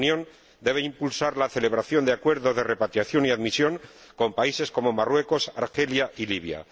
La Unión Europea debe impulsar la celebración de acuerdos de repatriación y admisión con países como Marruecos, Argelia y Libia.